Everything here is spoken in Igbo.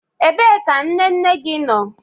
Ebee ka nne nne gị nọ?